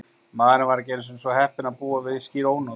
Maðurinn var ekki einu sinni svo heppinn að búa við skýr ónot.